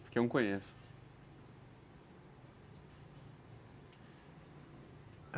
Porque eu não conheço.